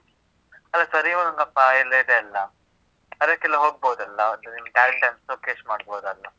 ಅಲ್ಲಾ ಸ, ರಿ, ಗ, ಮ, ಪ ಎಲ್ಲಾ ಇದೆ ಅಲ್ಲ? ಅದಕ್ಕೆಲ್ಲ ಹೋಗ್ಬೋದಲ್ಲ, ಅಂದ್ರೆ ನಿಮ್ಮ್ talent ನೆಲ್ಲ showcase ಮಾಡ್ಬೋದಲ್ಲ?